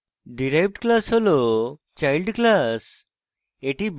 derived class হল child class